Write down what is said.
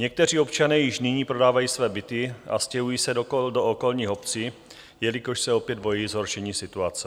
Někteří občané již nyní prodávají své byty a stěhují se do okolních obcí, jelikož se opět bojí zhoršení situace.